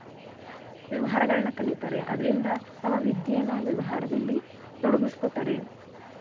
ವ್ಯವಹಾರಗಳನ್ನ ಕಲಿತಾರೆ ಅದ್ರಿಂದ ತಮ್ಮ ವಿದ್ಯೆನ ವ್ಯವಹಾರದಲ್ಲಿ ತೊಡ್ಗಿಸ್ಕೊತಾರೆ.